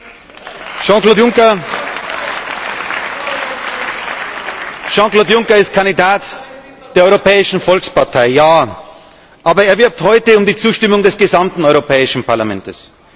Jean Claude Juncker ist Kandidat der Europäischen Volkspartei, ja, aber er wirbt heute um die Zustimmung des gesamten Europäischen Parlaments.